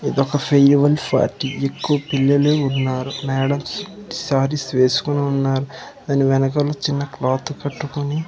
ఇదొక farewell party ఎక్కువ పిల్లలు ఉన్నారు మేడమ్స్ శారీస్ వేసుకొనున్నారు దాని వెనకాల చిన్న క్లాత్ కట్టుకొని.